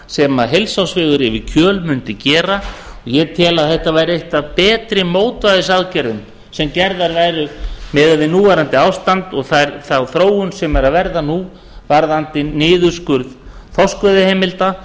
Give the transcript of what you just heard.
sem heilsársvegur yfir kjöl mundi gera og ég tel að þetta væri eitt af betri mótvægisaðgerðum sem gerðar væru miðað við núverandi ástand og þá þróun sem er að verða nú varðandi niðurskurð þorskveiðiheimilda